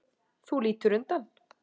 Þú lítur undan.